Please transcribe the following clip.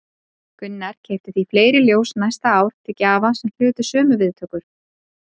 Gunnar keypti því fleiri ljós næsta ár til gjafa sem hlutu sömu viðtökur.